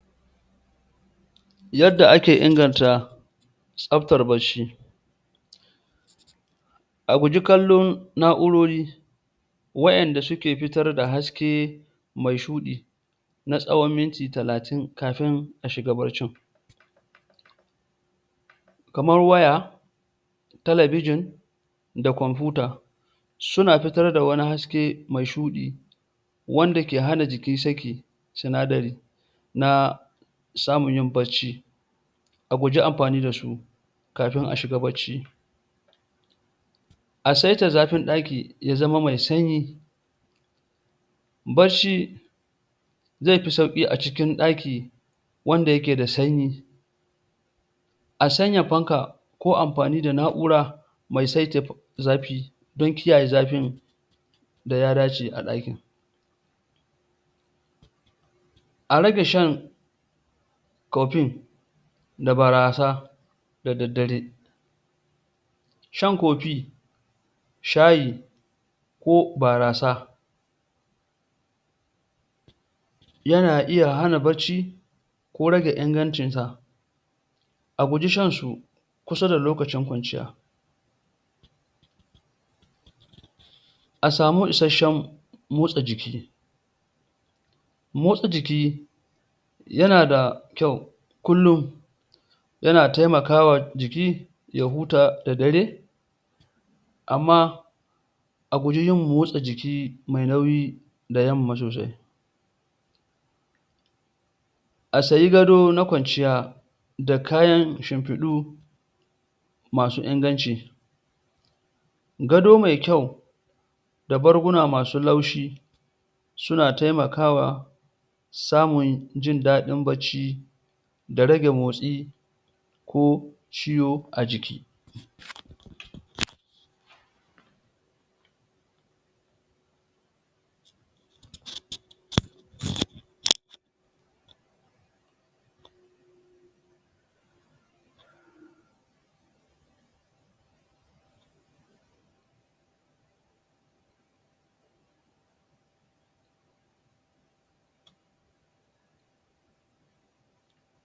yadda ake inganta tabtar bacci a guji kallon na'urori wayanda suke fitar da haske mai shuɗi na tsawon minti talatin kafin ashiga baccin kamar waya telebijin da komfuta suna fitar da wani haske mai shuɗi wanda ke hana jiki sakin sinadari na samun yin bacci a guji amfani dasu kafin a shiga bacci a saita zafin ɗaki ya zama mai sanyi bacci zai fi sauki a cikin ɗaki wanda yake da sanyi a sanya fanka ko amfani da na'ura mai sai saita zafi don kiyaye zafin da ya dace a ɗakin a rage shan coffee da barasa da daddare shan coffee shayi ko barasa yana iya hana bacci ko rage ingancin sa a guji shansu kusa da lokacin kwanciya asamu issashen motsa jiki motsa jiki yana da kyau kullum yana taimakawa jiki ya huta da daddare amma a guji yin motsa jiki mai nauyi da yamma sosai a sayi gado na kwanciya da kayan shimfiɗu masu inganci gado mai kyau da barguna masu laushi suna taimakawa samun yin jindaɗin bacci da rage motsi ko ciwo a jiki????